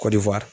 Kɔdiwari